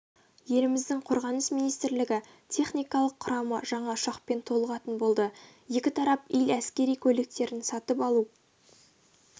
еліміздің қорғаныс министрлігі техникалық құрамы жаңа ұшақпен толығатын болды екі тарап ил әскери көліктерін сатып алу